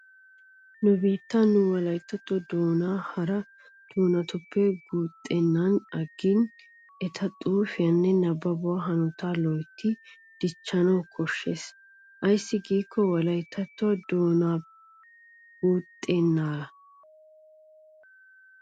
Nu biittan nu wolayttatto doonaa hara doonatuppe guuttennan aggidi eta xuufiyanne nabbabuwa hanotaa loytti dichchanawu koshshees. Ayssi giikko wolayttattoy o doonappekka guuxxenna.